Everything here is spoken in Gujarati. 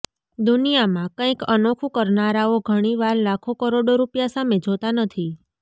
દુનિયામાં કંઈક અનોખું કરનારાઓ ઘણી વાર લાખો કરોડો રૂપિયા સામે જોતા નથી